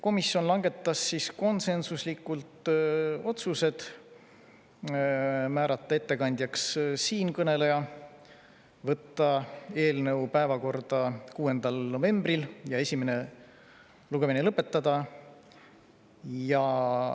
Komisjon langetas konsensuslikult järgmised otsused: määrata ettekandjaks siinkõneleja, võtta eelnõu päevakorda 6. novembril ja esimene lugemine lõpetada.